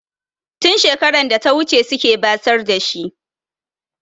Tun shekarar data wuce suke basar da shi.